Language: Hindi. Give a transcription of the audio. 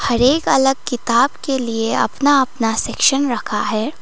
हर एक अलग किताब के लिए अपना अपना सेक्शन रखा है।